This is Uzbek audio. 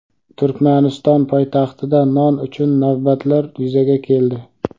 Turkmaniston poytaxtida non uchun navbatlar yuzaga keldi.